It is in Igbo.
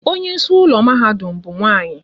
Onye isi ụlọ mahadum ha bụ nwanyị